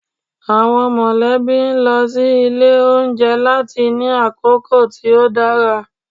Awọn molebí n lọ si ile ounjẹ lati ni akoko ti o dara.